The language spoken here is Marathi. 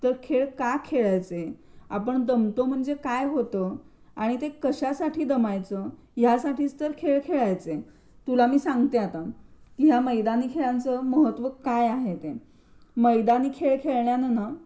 आपण दमतो म्हणजे काय होतं आणि ते कशासाठी दमायचं यासाठीच तर खेळ खेळायचे. तुला मी सांगते आता की या मैदानी खेळांचे महत्त्व काय आहे ते. मैदानी खेळ खेळल्याने ना